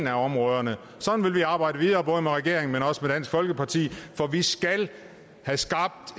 af områderne sådan vil vi arbejde videre både med regeringen men også med dansk folkeparti for vi skal have skabt